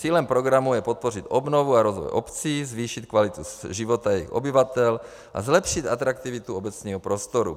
Cílem programu je podpořit obnovu a rozvoj obcí, zvýšit kvalitu života jejich obyvatel a zlepšit atraktivitu obecního prostoru.